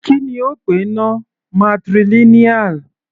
Kí ni ó pè náà, matrilineal?